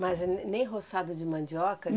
Mas ne nem roçado de mandioca?